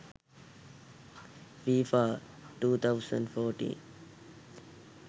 fifa 2014